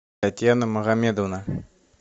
татьяна магомедовна